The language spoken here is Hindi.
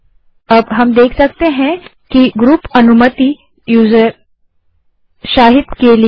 अब हम देख सकते हैं कि ग्रुप अनुमति यूज़र शाहिद के लिए है